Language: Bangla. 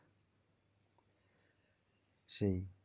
সেই